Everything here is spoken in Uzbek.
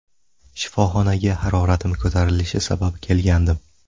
Shifoxonaga haroratim ko‘tarilishi sabab kelgandim.